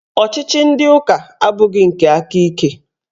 Ọchịchị ndị ụka abụghị nke aka ike